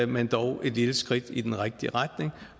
men dog et lille skridt i den rigtige retning